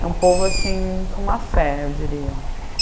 É um povo assim, com má fé, eu diria.